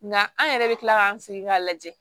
Nka an yɛrɛ bɛ tila k'an sigi k'a lajɛ